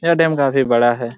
यह डेम काफी बड़ा हैं।